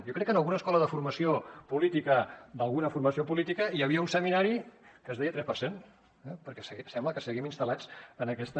jo crec que en alguna escola de formació política d’alguna formació política hi havia un seminari que es deia tres per cent eh perquè sembla que seguim instal·lats en aquesta